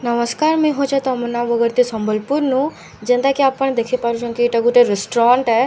ନମସ୍କାର୍ ମୁଁଇ ହଉଛେ ତମନା ବଗର୍ତ୍ତୀ ସମ୍ବଲପୁର୍ ନୁ ଯେନ୍ତା କି ଆପଣ୍‌ ଦେଖି ପାରୁଛନ୍ କି ଇଟା ଗୋଟେ ରେଷ୍ଟ୍ରଣ୍ଟ ଏ।